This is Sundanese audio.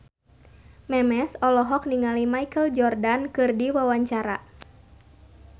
Memes olohok ningali Michael Jordan keur diwawancara